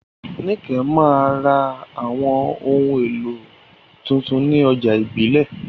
Nike máa ń ra àwọn ohun èlò tuntun ní ọjà ìbílẹ̀.